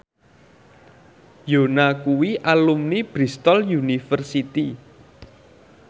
Yoona kuwi alumni Bristol university